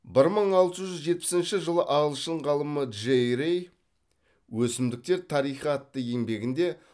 бір мың алты жүз жетпісінші жылы ағылшын ғалымы джей рей өсімдіктер тарихы атты еңбегінде